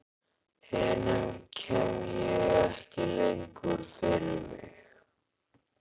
Hinum kem ég ekki lengur fyrir mig.